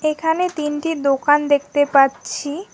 এখানে তিনটি দোকান দেখতে পাচ্ছি।